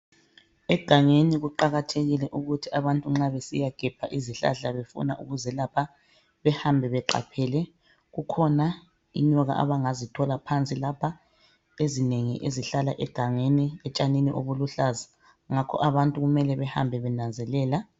Egangeni kuqakathekile ukuthi abantu nxa besiyagebha izihlahla, befuna ukuzelapha. Behambe beqaphele. Kukhona inyoka abangazithola phansi lapha, ezinengi ezihlala etshanini obuluhlaza. Ngakho abantu kumele bahambe benanzelela.